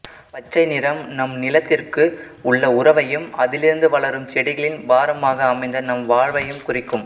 பச்சை நிறம் நம் நிலத்திற்கு உள்ள உறவையும் அதிலிருந்து வளரும் செடிகளின் பாரமாக அமைந்த நம் வாழ்வையும் குறிக்கும்